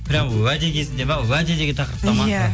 прямо уәде кезінде ме уәде деген тақырыпқа ма иә